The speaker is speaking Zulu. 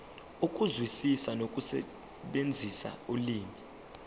ukuzwisisa nokusebenzisa ulimi